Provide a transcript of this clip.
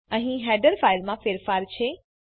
અહીં હેડર ફાઈલમાં ફેરફાર છે